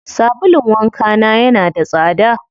Sabulun wanka na yana da tsada.